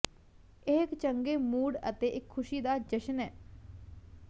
ਇਹ ਇੱਕ ਚੰਗੇ ਮੂਡ ਅਤੇ ਇੱਕ ਖੁਸ਼ੀ ਦਾ ਜਸ਼ਨ ਹੈ